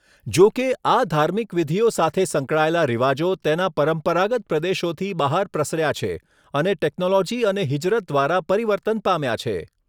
જોકે, આ ધાર્મિક વિધિઓ સાથે સંકળાયેલા રિવાજો તેના પરંપરાગત પ્રદેશોથી બહાર પ્રસર્યા છે અને ટેક્નોલોજી અને હિજરત દ્વારા પરિવર્તન પામ્યા છે.